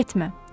Getmə.